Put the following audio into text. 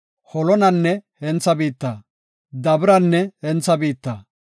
Holonanne hentha biitta, Dabiranne hentha biitta,